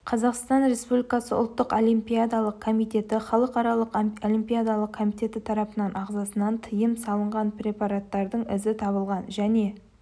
қазақстан республикасы ұлттық олимпиадалық комитеті халықаралық олимпиадалық комитеті тарапынан ағзасынан тыйым салынған препараттардың ізі табылған және